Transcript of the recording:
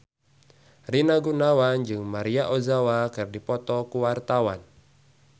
Rina Gunawan jeung Maria Ozawa keur dipoto ku wartawan